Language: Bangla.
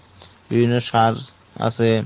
বিভিন্ন সার আছে।